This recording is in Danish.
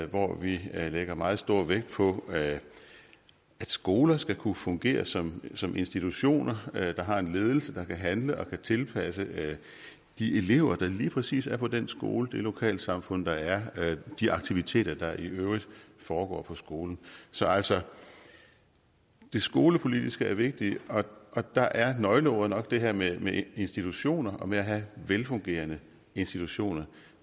hvor vi lægger meget stor vægt på at skoler skal kunne fungere som som institutioner der har en ledelse der kan handle og kan tilpasse de elever der lige præcis er på den skole i det lokalsamfund der er og de aktiviteter der i øvrigt foregår på skolen så altså det skolepolitiske er vigtigt og der er nøgleordet nok det her med institutioner og med at have velfungerende institutioner